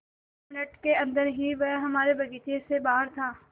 दो मिनट के अन्दर ही वह हमारे बगीचे से बाहर था